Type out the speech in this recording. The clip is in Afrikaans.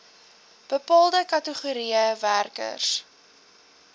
bepaalde kategorieë werkers